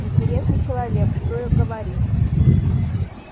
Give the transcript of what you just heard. интересный человек что и говорить